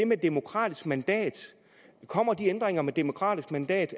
med et demokratisk mandat kommer de ændringer med et demokratisk mandat